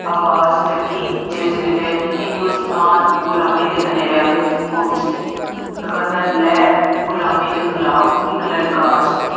ਆਵਾਜ਼ ਚੱਕੀ ਜਿਸ ਵੇਲੇ ਹਿੰਦੁਸਤਾਨ ਗੁਲਾਮੀ ਦੇ ਹਨੇਰਿਆਂ ਵਿੱਚ ਗੁੰਮ ਸੀ। ਗਦਰ ਲਹਿਰ ਗੁਲਾਮੀ ਦੇ ਖਿਲਾਫ ਇੱਕ ਲਲਕਾਰ ਸੀ।